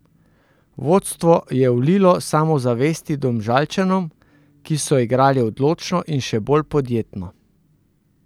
Vodstvo je vlilo samozavesti Domžalčanom, ki so igrali odločno in še bolj podjetno.